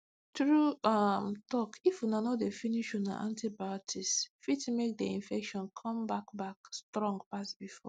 true um talkif una no dey finish una antibioticse fit make the infection come back back strong pass before